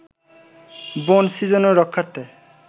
বন সৃজন ও রক্ষার্থে